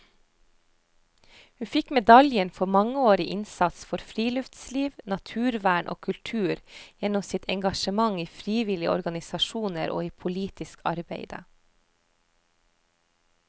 Hun fikk medaljen for mangeårig innsats for friluftsliv, naturvern og kultur gjennom sitt engasjement i frivillige organisasjoner og i politisk arbeide.